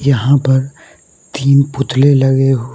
यहां पर तीन पुतले लगे हुए --